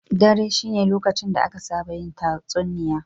Dare shine lokacin da aka saba yin tatsuniya.